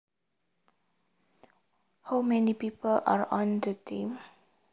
How many people are on the team